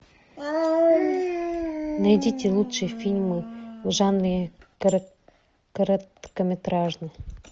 найдите лучшие фильмы в жанре короткометражный